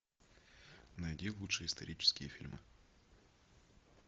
найди лучшие исторические фильмы